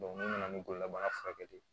n'u nana ni bololabaarakɛ ye